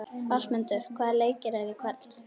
Ásmundur, hvaða leikir eru í kvöld?